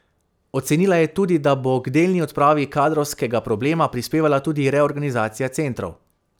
Ocenila je tudi, da bo k delni odpravi kadrovskega problema prispevala tudi reorganizacija centrov.